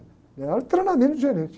Minha área é de treinamento de gerente.